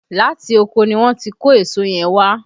Láti oko ni wọ́n ti kó èso yẹn wá